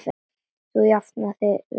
Þú jafnar þig vinur.